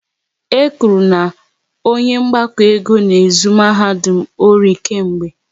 E kwuru na onye mgbakọ ego n'ezu mahadum ọri kemgbe